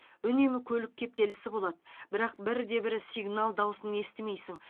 үнемі көлік кептелісі болады бірақ бірде бір сигнал дауысын естімейсің